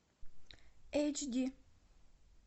эйч ди